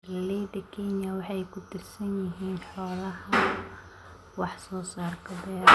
Beeralayda Kenya waxa ay ku tiirsan yihiin xoolaha wax soo saarka beeraha.